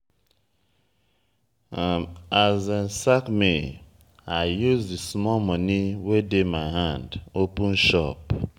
as dem sack me i use di small moni wey dey my hand open shop.